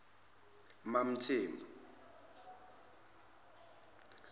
mamthembu